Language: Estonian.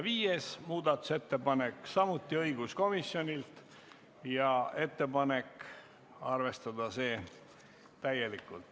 Viies muudatusettepanek on samuti õiguskomisjonilt ja juhtivkomisjoni ettepanek on arvestada seda täielikult.